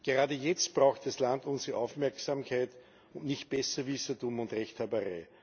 Gerade jetzt braucht das Land unsere Aufmerksamkeit und nicht Besserwissertum und Rechthaberei!